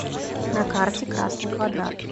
на карте красный квадрат